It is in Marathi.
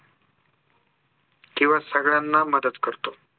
किंवा सगळ्यांना मदत करतो